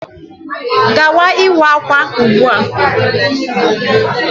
Gawa ịwa ákwà ugbu a.